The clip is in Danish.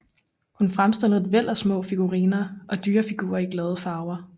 Hun fremstillede et væld af små figuriner og dyrefigurer i glade farver